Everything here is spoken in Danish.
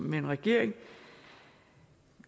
med en regering